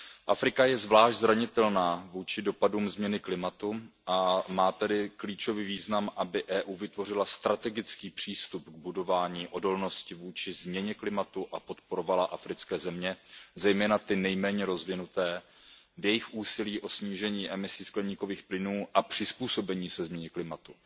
Afrika je zvlášť zranitelná vůči dopadům změny klimatu, a má tedy klíčový význam, aby EU vytvořila strategický přístup k budování odolnosti vůči změně klimatu a podporovala africké země, zejména ty nejméně rozvinuté v jejich úsilí o snížení emisí skleníkových plynů a přizpůsobení se změně klimatu.